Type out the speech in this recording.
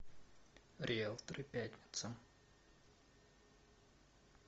риэлторы пятница